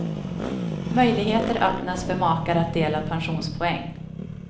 Möjligheter öppnas för makar att dela pensionspoäng.